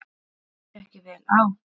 Líst þér ekki vel á.